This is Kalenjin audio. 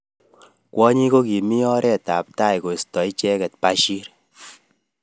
Kwonyik kokimi oret ab tai koisto icheket Bashir.